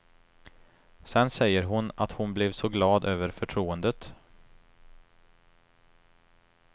Sen säger hon att hon blev så glad över förtroendet.